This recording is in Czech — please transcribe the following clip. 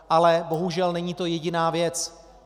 Ale bohužel, není to jediná věc.